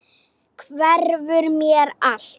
Hverfur mér allt.